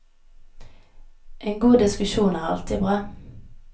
En god diskusjon er alltid bra.